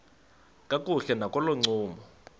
kakuhle nakolo ncumo